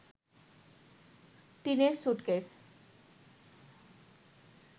টিনের স্যুটকেস